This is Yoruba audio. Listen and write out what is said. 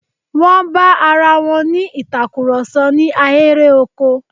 Wọ́n bá arawọn ní ìtakurọ̀sọ̀ ní ahéré oko.